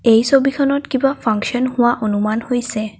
এই ছবিখনত কিবা ফাঙ্কশন হোৱা অনুমান হৈছে।